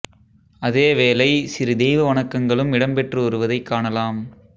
அதே வேளை சிறு தெய்வ வணக்கங்களும் இடம்பெற்று வருவதைக் காணலாம்